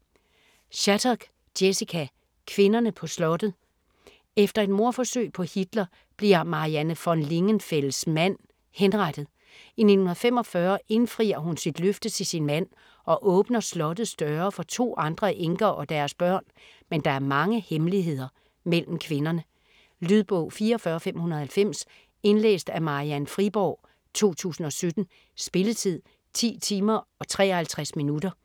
Shattuck, Jessica: Kvinderne på slottet Efter et mordforsøg på Hitler, bliver Marianne von Lingenfels mand henrettet. I 1945 indfrier hun sit løfte til sin mand og åbner slottets døre for 2 andre enker og deres børn, men der er mange hemmeligheder mellem kvinderne. Lydbog 44590 Indlæst af Marian Friborg, 2017. Spilletid: 10 timer, 53 minutter.